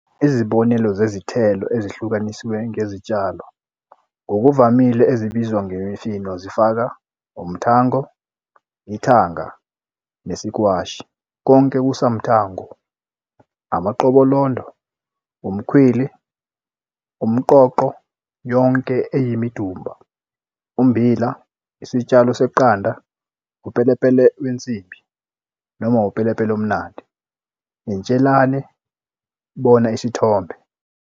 Izibonelo zezithelo ezihlukaniswe ngezitshalo ngokuvamile ezibizwa ngemifino zifaka - umtango, ithanga, nesikwashi, konke kusamtango, amaqobolondo, umkhwili, umqoqo, yonke eyimidumba, ummbila, isitshalo seqanda, upelepele wensimbi, noma upelepele omnandi, intshelane, bona isithombe.